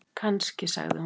Kannski, sagði hún.